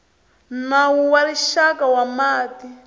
nawu wa rixaka wa mati